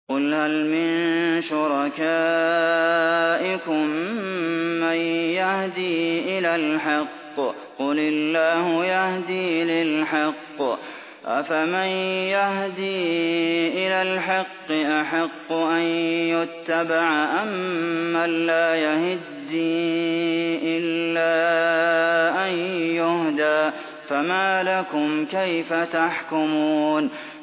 قُلْ هَلْ مِن شُرَكَائِكُم مَّن يَهْدِي إِلَى الْحَقِّ ۚ قُلِ اللَّهُ يَهْدِي لِلْحَقِّ ۗ أَفَمَن يَهْدِي إِلَى الْحَقِّ أَحَقُّ أَن يُتَّبَعَ أَمَّن لَّا يَهِدِّي إِلَّا أَن يُهْدَىٰ ۖ فَمَا لَكُمْ كَيْفَ تَحْكُمُونَ